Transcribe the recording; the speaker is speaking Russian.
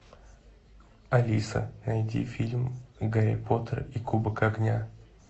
алиса найди фильм гарри поттер и кубок огня